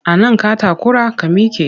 A nan ka takura? ka mike!